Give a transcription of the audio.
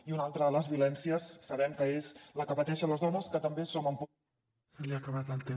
i una altra de les violències sabem que és la que pateixen les dones que també som